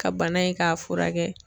Ka bana in k'a furakɛ.